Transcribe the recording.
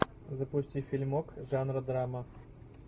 запусти фильмок жанра драма